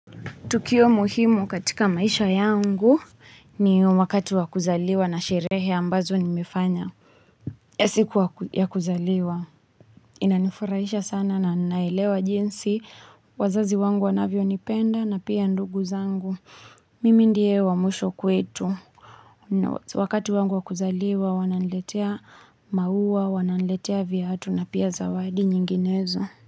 Tukio muhimu katika maisha yangu, ni wakati wa kuzaliwa na sherehe ambazo nimefanya. Ya siku yakuzaliwa, inanifurahisha sana na nailewa jinsi, wazazi wangu wanavyo nipenda na pia ndugu zangu. Mimi ndie wa mwisho kwetu. Wakati wangu wa kuzaliwa, wananiletea maua, wananiletea viatu na pia zawadi nyinginezo.